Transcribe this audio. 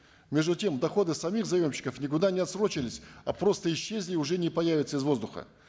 между тем доходы самих заемщиков никуда не отсрочились а просто исчезли и уже не появятся из воздуха